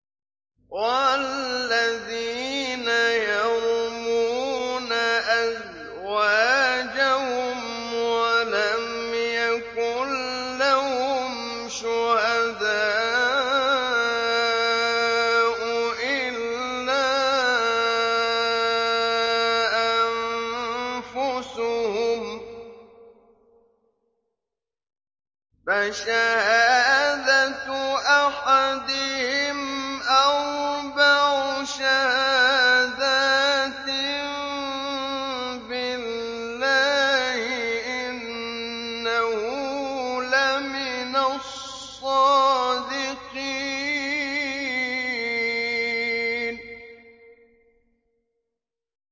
وَالَّذِينَ يَرْمُونَ أَزْوَاجَهُمْ وَلَمْ يَكُن لَّهُمْ شُهَدَاءُ إِلَّا أَنفُسُهُمْ فَشَهَادَةُ أَحَدِهِمْ أَرْبَعُ شَهَادَاتٍ بِاللَّهِ ۙ إِنَّهُ لَمِنَ الصَّادِقِينَ